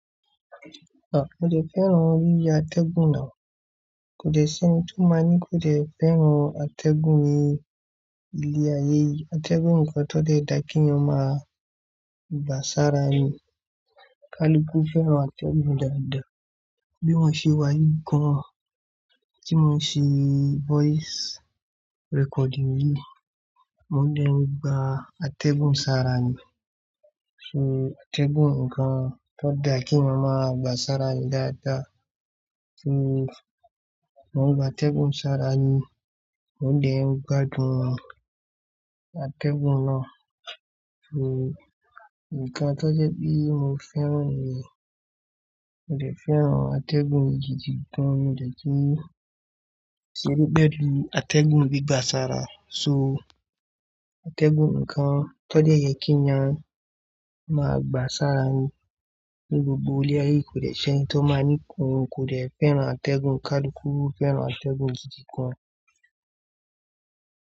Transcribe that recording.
À, mo dè fẹ́ràn oríṣìí atẹ́gùn náà. Kò dè ṣe ni tó má ní kò dè fẹ́ràn atẹ́gùn ní ilé ayé yìí. Atẹ́gùn nǹkan tó jẹ́ dá kí yan ma gbà sára nu. Kaluku fẹ́ràn atẹ́gùn dáadáa. Bí mo ṣe wá yìí gan an, tí mo ṣe voice recording yìí, mo dẹ̀ gba atẹ́gùn sára nu. So atẹ́gùn nǹkan tó dá kí yan ma gbà sára dáadáa. So mo gbà atẹ́gùn sára nu, mo dẹ̀ gbádùn atẹ́gùn náà. So nǹkan tó jẹ́ bí mo fẹ́ràn ni, mo fè fẹ́ràn atẹ́gùn gidigan, mo dè kí n ṣe rí pẹ̀lú atẹ́gùn bíi gbà sára. So atẹ́gùn nǹkan tó jẹ́ yẹ kí yan ma gbà sára nu ní gbogbo ilé ayé, kò dè ṣe ni tó má ní kò lè fẹ́ràn atẹ́gùn. Kaluku fẹ́ràn atẹ́gùn gidigan.